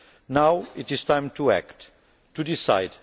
Now it is time to act, to decide.